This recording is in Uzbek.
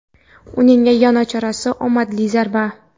Uning yagona chorasi - omadli zarba.